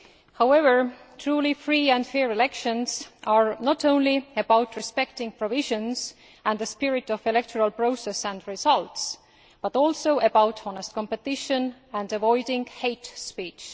However, truly free and fair elections are not only about respecting provisions and the spirit of the electoral process and results, but also about honest competition and avoiding hate speech.